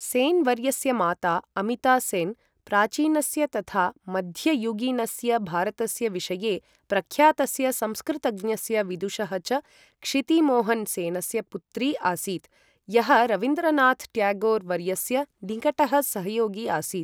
सेन् वर्यस्य माता अमिता सेन्, प्राचीनस्य तथा मध्ययुगीनस्य भारतस्य विषये प्रख्यातस्य संस्कृतज्ञस्य विदुषः च क्षितिमोहन सेनस्य पुत्री आसीत्, यः रवीन्द्रनाथ ट्यागोर् वर्यस्य निकटः सहयोगी आसीत्।